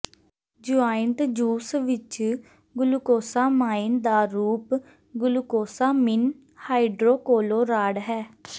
joint juice ਵਿਚ glucosamine ਦਾ ਰੂਪ ਗੁਲੂਕੋਸਾਮਿਨ ਹਾਈਡ੍ਰੋਕੋਲੋਰਾਡ ਹੈ